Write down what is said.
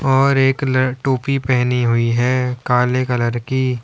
और एक टोपी पहनी हुई है काले कलर की।